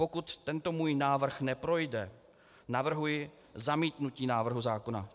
Pokud tento můj návrh neprojde, navrhuji zamítnutí návrhu zákona.